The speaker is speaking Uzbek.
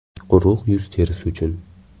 Quruq yuz terisi uchun .